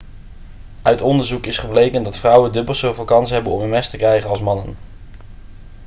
uit onderzoek is gebleken dat vrouwen dubbel zoveel kans hebben om ms te krijgen als mannen